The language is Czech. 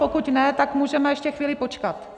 Pokud ne, tak můžeme ještě chvíli počkat.